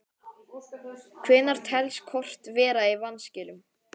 Hvenær telst kort vera í vanskilum?